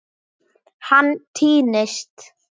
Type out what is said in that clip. Hann týnist.